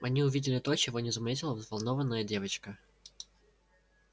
они увидели то чего не заметила взволнованная девочка